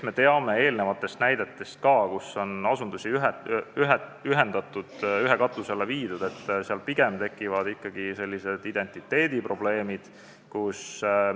Me teame ka eelnevate näidete põhjal, kui asutusi on ühendatud, ühe katuse alla viidud, et pigem tekivad ikkagi identiteediprobleemid.